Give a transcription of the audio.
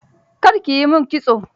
Kar ki yi min kitso.